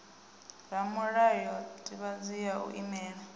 ramulayo sdivhadzo ya u imela